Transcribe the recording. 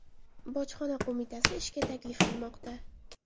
Bojxona qo‘mitasi ishga taklif qilmoqda.